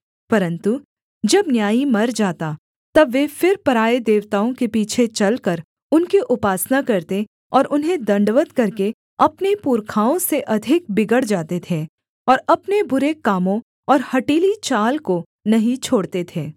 परन्तु जब न्यायी मर जाता तब वे फिर पराए देवताओं के पीछे चलकर उनकी उपासना करते और उन्हें दण्डवत् करके अपने पुरखाओं से अधिक बिगड़ जाते थे और अपने बुरे कामों और हठीली चाल को नहीं छोड़ते थे